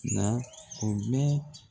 Na o bɛ